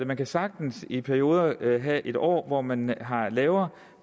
man kan sagtens i perioden have en år hvor man har et lavere